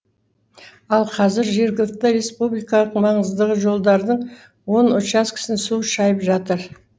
ал қазір жерігілікті республикалық маңыздығы жолдардың он часкесін су шайып жатыр